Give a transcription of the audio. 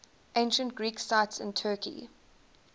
ancient greek sites in turkey